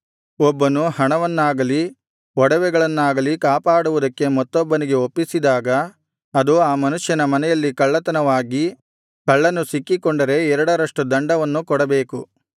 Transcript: ಒಬ್ಬನು ಹಣವನ್ನಾಗಲಿ ಒಡವೆಗಳನ್ನಾಗಲಿ ಕಾಪಾಡುವುದಕ್ಕೆ ಮತ್ತೊಬ್ಬನಿಗೆ ಒಪ್ಪಿಸಿದಾಗ ಅದು ಆ ಮನುಷ್ಯನ ಮನೆಯಲ್ಲಿ ಕಳ್ಳತನವಾಗಿ ಕಳ್ಳನು ಸಿಕ್ಕಿಕೊಂಡರೆ ಎರಡರಷ್ಟು ದಂಡವನ್ನು ಕೊಡಬೇಕು